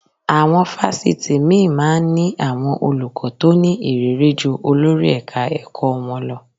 Àwọn fásitì míì máa ń ní àwọn olùkọ́ tó ní ìrírí ju olórí ẹ̀ka-ẹ̀kọ́ wọn lọ